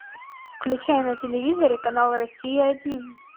включай на телевизоре канал россия один